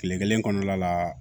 Kile kelen kɔnɔna la